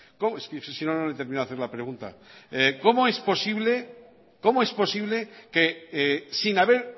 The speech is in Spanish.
es que si no no termino de hacerle la pregunta cómo es posible que sin haber